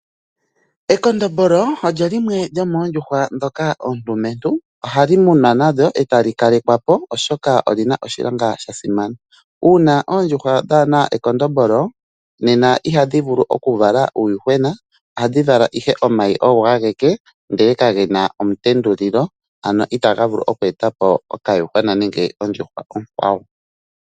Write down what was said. Ekondombolo olyo limwe lyomondjuhwa dhoka ondumentu ohali munwa nandyo etali kalekwa po oshoka olina oshilonga shasimana .Una oondjuhwa kadhina ekondombolo nena ihadhi vulu okuvala uuyuhwena ohadhi vala ihe omayi ogo ageke ndele kagena omutendulilo ano otaga vulu okweta po okayuhwa nenge ondjuhwa okwawo.